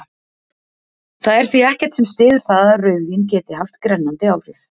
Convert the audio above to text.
Það er því ekkert sem styður það að rauðvín geti haft grennandi áhrif.